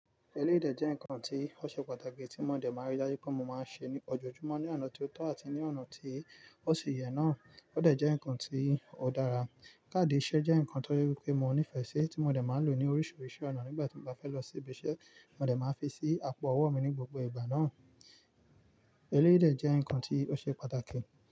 Eléyì dè jẹ́ ǹkan tí ó ṣe pàtàkì tí mo dẹ̀ máa rí dájú pé mo máa ń ṣe ní ojoojúmọ́ ní ọ̀nà tí ó tọ́ àti ní ọ̀nà tí ó ṣe yẹ náà. Ó dẹ̀ jẹ́ ǹkan tí ó dára. Kaadi ìṣe jẹ́ ǹkan tó je wipé mo nífẹ̀ẹ́ sí tí mo dẹ̀ máa ń lò ní oríṣiríṣi ọ̀nà nígbà tí mo bá fẹ́ lọ sí ibi iṣẹ́. Mo dẹ̀ máa fi sí àpò ọwọ́ mi ní gbogbo ìgbà náà. Eléyìdè jẹ́ ǹkan tí ó ṣe pàtàkì.